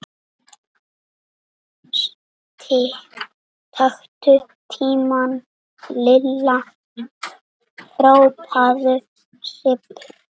Taktu tímann Lilla! hrópaði Sibbi.